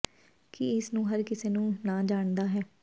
ਕੀ ਇਸ ਨੂੰ ਹਰ ਕਿਸੇ ਨੂੰ ਨਾ ਜਾਣਦਾ ਹੈ